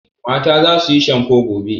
Mata za su yi shamfo gobe.